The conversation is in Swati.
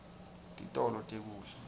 titolo tekudla